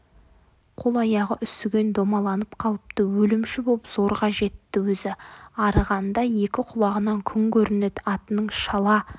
қол-аяғы үсіген домаланып қалыпты өлімші боп зорға жетті өзі арығанда екі құлағынан күн көрінеді атының шала